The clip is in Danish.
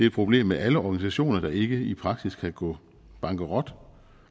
et problem med alle organisationer der ikke i praksis kan gå bankerot